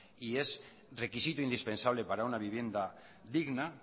y es requisito indispensable para una vivienda digna